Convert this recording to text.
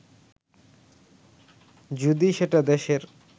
যদি সেটা দেশের